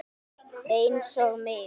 Einsog mig.